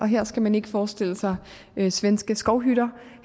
her skal man ikke forestille sig svenske skovhytter